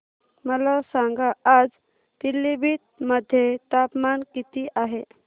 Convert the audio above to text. मला सांगा आज पिलीभीत मध्ये तापमान किती आहे